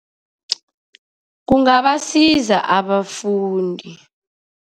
Kungabasiza abafundi.